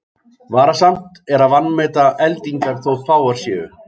Varasamt er að vanmeta eldingar þótt fáar séu.